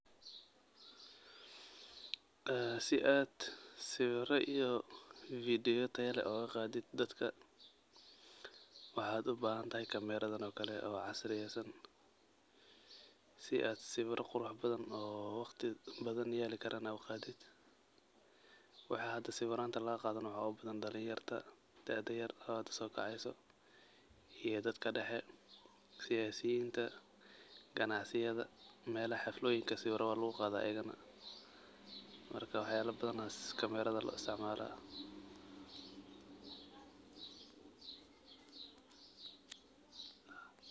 En sii aad siwiro iyo video ya taayo leh oga qaadid dadka waxa ubahan tahay camera daan oo kale casriyesaan si aa sawira qurux badan oo waqti badan yaali karo aad uga qaadiid, waxey ahato bo sawiranta laga qado waxa ugu badan dhalinyarada daada yar oo hada sokaceso, iyo dadka dexe, siyasinta, ganacsiyadha, melaha xirfoyinka sawira wa laguqada ayagana waax lo badan aya camera da lo istaacmala.